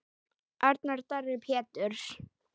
Arnar Darri Péturs.